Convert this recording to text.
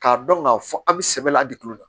K'a dɔn k'a fɔ an bɛ sɛbɛ la a di kilo la